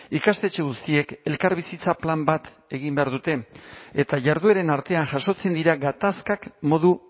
ikastetxe guztiek elkarbizitza plan bat egin behar dute eta jardueren artean jasotzen dira gatazkak modu